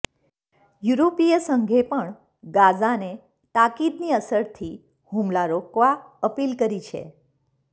યુરોપીય સંઘે પણ ગાઝાને તાકીદની અસરથી હુમલા રોકવા અપીલ કરી છે